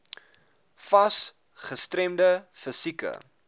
fas gestremde fisieke